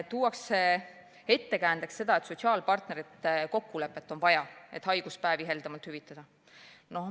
Tuuakse ka ettekäändeks, et vaja on sotsiaalpartnerite kokkulepet, et haiguspäevi heldemalt hüvitada.